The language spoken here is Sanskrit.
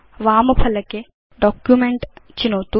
वाम फलके Document चिनोतु